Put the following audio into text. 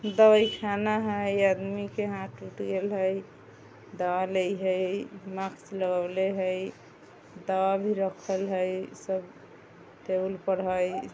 दवाई खाना हेय इ आदमी के हाथ टूट गेल हेय दबा लेय हेय मास्क लगाउले हेय दाबा भी राखल हेय सब टेबुल पर है।